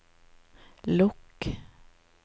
lukk